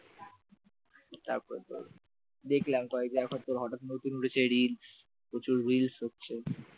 তারপর তোর দেখলাম কয়েক জায়গায় তোর হঠাৎ নতুন উঠেছে রিল প্রচুর রিলস হচ্ছে